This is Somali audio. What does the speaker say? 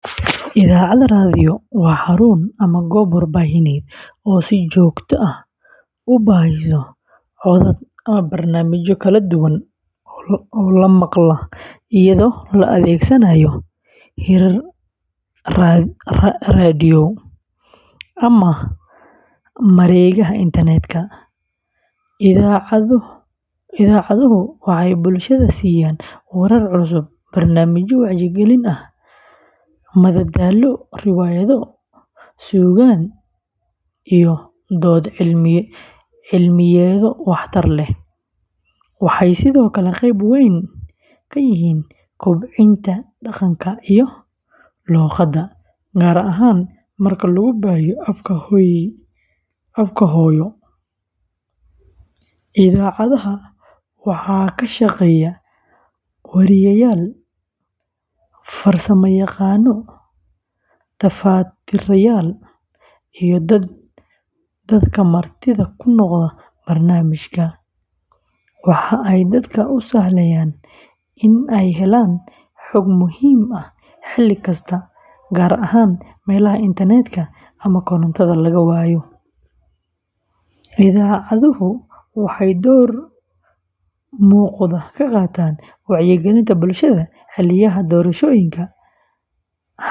Idaacad raadiyo waa xarun ama goob warbaahineed oo si joogto ah u baahisa codad iyo barnaamijyo kala duwan oo la maqlo iyadoo la adeegsanayo hirar raadiyo ama mareegaha internet-ka. Idaacaduhu waxay bulshada siiyaan warar cusub, barnaamijyo wacyigelin ah, madadaalo, riwaayado, suugaan, iyo dood cilmiyeedyo wax-tar leh. Waxay sidoo kale qeyb weyn ka yihiin kobcinta dhaqanka iyo luqadda, gaar ahaan marka lagu baahiyo afka hooyo sida af-Soomaaliga. Idaacadaha waxaa ka shaqeeya weriyeyaal, farsamayaqaano, tafatirayaal, iyo dadka martida ku noqda barnaamijyada. Waxa ay dadka u sahlayaan in ay helaan xog muhiim ah xilli kasta, gaar ahaan meelaha internet-ka ama korontada laga waayo. Idaacaduhu waxay door muuqda ka qaataan wacyigelinta bulshada xilliyada doorashooyinka, xasaradaha.